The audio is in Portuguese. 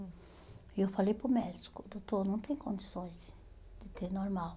E eu falei para o médico, doutor, não tem condições de ter normal.